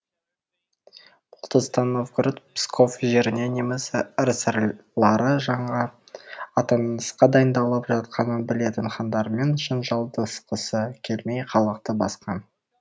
бұл тұста новгород псков жеріне неміс рыцарьлары жаңа аттанысқа дайындалып жатқанын білетін хандарымен жанжалдасқысы келмей халықты басқан